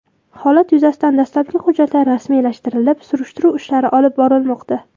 Holat yuzasidan dastlabki hujjatlar rasmiylashtirilib, surishtiruv ishlari olib borilmoqda.